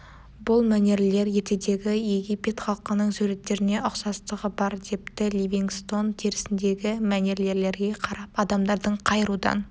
бұл мәнерлер ертедегі египет халқының суреттеріне ұқсастығы бар депті ливингстон терісіндегі мәнерлерге қарап адамдардың қай рудан